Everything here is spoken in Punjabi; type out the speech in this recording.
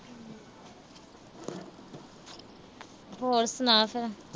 ਹੋਰ ਸੁਣਾ ਫਿਰ।